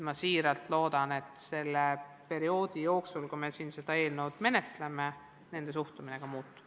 Ma väga loodan, et selle perioodi jooksul, kui me seda eelnõu menetleme, nende suhtumine muutub.